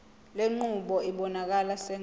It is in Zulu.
lenqubo ibonakala sengathi